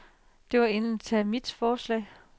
Det var egentligt mit forslag.